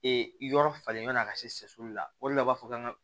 yɔrɔ falen ɲɔnna ka seli la o le la u b'a fɔ kan ka